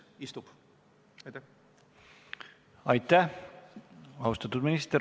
Aitäh, austatud minister!